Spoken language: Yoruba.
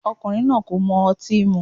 Ọkùnrin náà kò mọ otín mú.